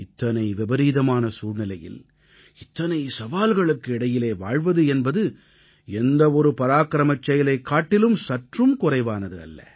இத்தனை விபரீதமான சூழ்நிலையில் இத்தனை சவால்களுக்கு இடையிலே வாழ்வது என்பது எந்தவொரு பராக்கிரமச் செயலைக் காட்டிலும் சற்றும் குறைவானது அல்ல